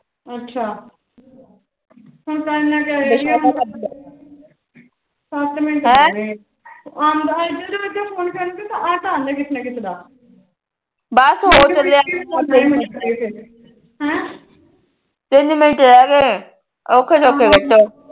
ਤਿੰਨ ਮਿੰਟ ਰਹਿ ਗੇ ਅੋਖੇ ਸੋਖੇ ਕੱਟੋ